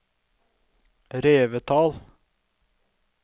Revetal